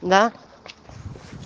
да